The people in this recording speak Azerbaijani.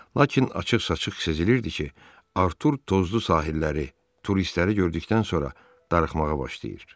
Lakin açıq-saçıq sezilirdi ki, Artur tozlu sahilləri, turistləri gördükdən sonra darıxmağa başlayır.